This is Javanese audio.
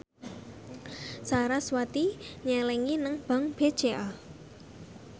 sarasvati nyelengi nang bank BCA